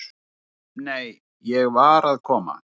"""Nei, nei, ég var að koma."""